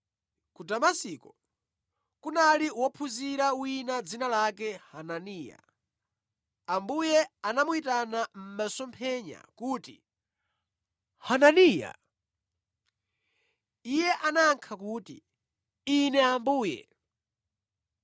Ku Damasiko kunali wophunzira wina dzina lake Hananiya. Ambuye anamuyitana mʼmasomphenya kuti, “Hananiya!” Iye anayankha kuti, “Ine Ambuye.”